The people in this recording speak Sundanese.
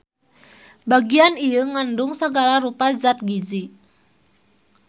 Bagian ieu ngandung sagala rupa zat giji.